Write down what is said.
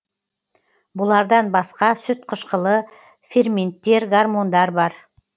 бұлардан басқа сүтқышқылы ферменттергормондар бар